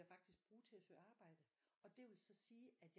Faktisk bruge til at søge arbejde og det vil så sige at